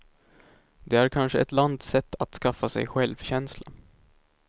Det är kanske ett lands sätt att skaffa sig självkänsla.